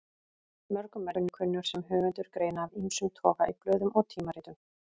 Mörgum er ég kunnur sem höfundur greina af ýmsum toga í blöðum og tímaritum.